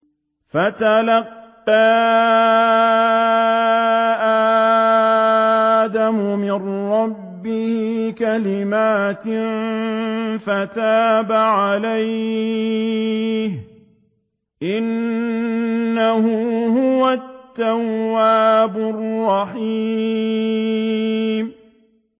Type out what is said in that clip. فَتَلَقَّىٰ آدَمُ مِن رَّبِّهِ كَلِمَاتٍ فَتَابَ عَلَيْهِ ۚ إِنَّهُ هُوَ التَّوَّابُ الرَّحِيمُ